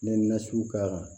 Ne na sugu ka